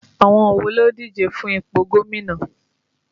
Àwọn wo ló ń díje fún ipò gómìnà?